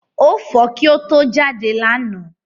Ó fọ kí ó to jáde lánàá.